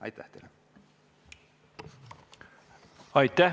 Aitäh teile!